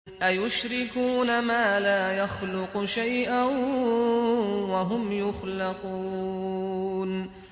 أَيُشْرِكُونَ مَا لَا يَخْلُقُ شَيْئًا وَهُمْ يُخْلَقُونَ